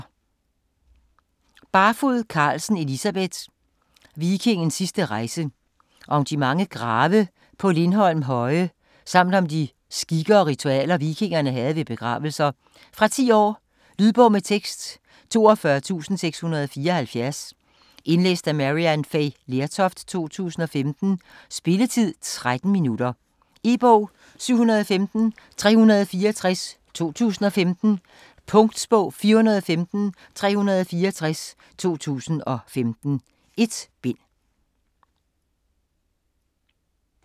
Barfod Carlsen, Elisabeth: Vikingens sidste rejse Om de mange grave på Lindholm Høje, samt om de skikke og ritualer vikingerne havde ved begravelser. Fra 10 år. Lydbog med tekst 42674 Indlæst af Maryann Fay Lertoft, 2015. Spilletid: 0 timer, 13 minutter. E-bog 715364 2015. Punktbog 415364 2015. 1 bind.